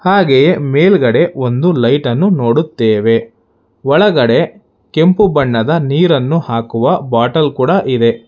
ಹಾಗೆ ಮೇಲ್ಗಡೆ ಒಂದು ಲೈಟ್ ಅನ್ನು ನೋಡುತ್ತೇವೆ ಒಳಗಡೆ ಕೆಂಪು ಬಣ್ಣದ ನೀರನ್ನು ಹಾಕುವ ಬಾಟಲ್ ಕೂಡ ಇದೆ.